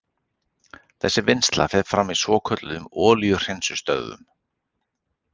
Þessi vinnsla fer fram í svokölluðum olíuhreinsunarstöðvum.